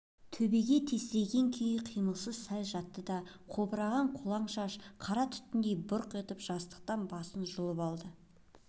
төбеге тесірейген күйі қимылсыз сәл жатты да қобыраған қолаң шашы қара түтіндей бұрқ етіп жастықтан басын жұлып алды